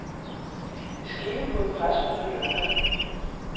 Det skete på et pressemøde lørdag.